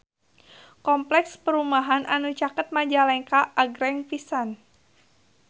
Kompleks perumahan anu caket Majalengka agreng pisan